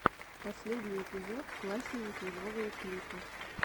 последний эпизод классненький новые клипы